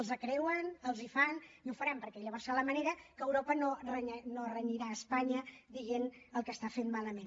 els creuen els les fan i ho faran perquè llavors serà la manera que europa no renyarà espanya dient el que està fent malament